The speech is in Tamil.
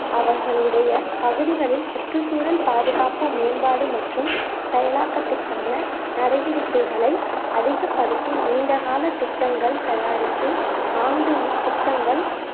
அவர்களுடைய பகுதிகளில் சுற்றுச்சூழல் பாதுகாப்பு மேம்பாடு மற்றும் செயலாக்கத்திற்கான நடவடிக்கைகளை அதிகப்படுத்தி நீண்ட கால திட்டங்கள் தயாரித்து ஆண்டின் திட்டங்கள்